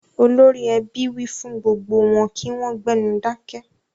Olórí ẹbí ọ fún gbogbo wọn kí wọ́n gbénu dákẹ́.